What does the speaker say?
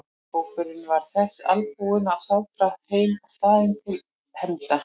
Hópurinn var þess albúinn að ráðast heim á staðinn til hefnda.